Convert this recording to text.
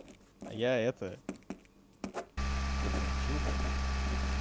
я это подрочил как бы